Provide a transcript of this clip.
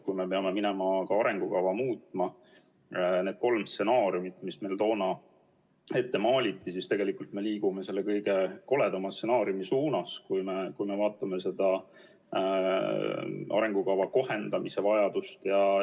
Kui me peame minema ka arengukava muutma, siis kolmest stsenaariumist, mis meile toona ette maaliti, me liigume selle kõige koledama stsenaariumi suunas, kui me vaatame seda arengukava kohendamise vajadust.